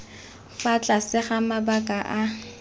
fa tlase ga mabaka a